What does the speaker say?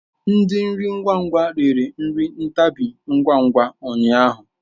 Ndi nri ngwa ngwa rere nri ntabi ngwa ngwa ụnyaahụ.